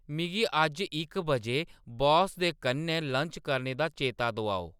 मिगी अज्ज इक बजे बास दे कन्नै लन्च करने दा चेता दोआओ